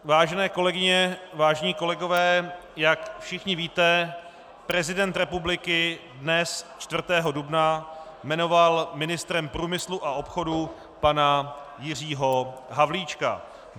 Vážené kolegyně, vážení kolegové, jak všichni víte, prezident republiky dnes, 4. dubna, jmenoval ministrem průmyslu a obchodu pana Jiřího Havlíčka.